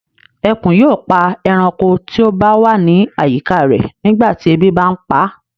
Ẹkùn yóò pa ẹranko tí ó ba wa ni àyíká rẹ̀ nígbà tí ebi bà ń paa